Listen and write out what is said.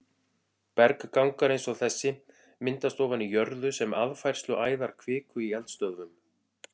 Berggangar eins og þessi myndast ofan í jörðu sem aðfærsluæðar kviku í eldstöðvum.